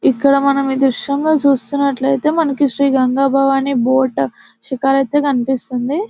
ఇక్కడ మనం ఈ దృశ్యంలో చూస్తున్నట్లయితే మనకు శ్రీ గంగాభవాని బోర్డ్ స్టిక్కర్ అయితే కనిపిస్తుంది --